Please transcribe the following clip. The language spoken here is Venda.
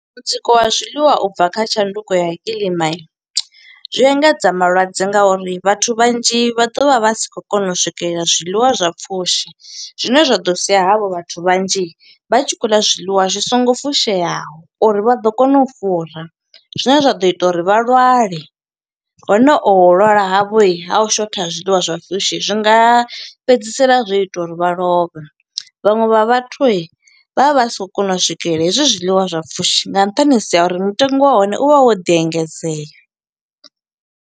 Mutsiko wa zwiḽiwa u bva kha tshanduko ya kiḽima, zwi engedza malwadze nga uri vhathu vhanzhi vha ḓo vha vha si khou kona u swikelela zwiḽiwa zwa pfushi. Zwine zwa ḓo sia havho vhathu vhanzhi, vha tshi khou ḽa zwiḽiwa zwi songo fusheaho. uri vha ḓo kona u fura, zwine zwa ḓo ita uri vha lwale. Hone oho u lwala havho ha u shotha ha zwiḽiwa zwa pfushi, zwi nga fhedzisela zwo ita uri vha lovhe. Vhaṅwe vha vhathu, vha vha vha si khou kona u swikelela hezwi zwiḽiwa zwa pfushi, nga nṱhanisi ha uri mutengo wa hone u vha wo ḓi engedzea.